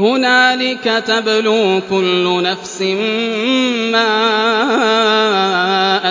هُنَالِكَ تَبْلُو كُلُّ نَفْسٍ مَّا